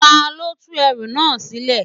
Ta ló tú ẹrú náà sílẹ̀?